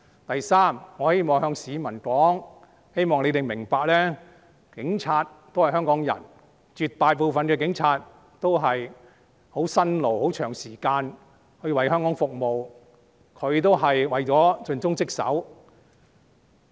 第三，我希望向市民說：我希望市民明白，警察也是香港人，絕大部分的警察也是十分辛勞地長時間為香港服務，他們是為了盡忠職守。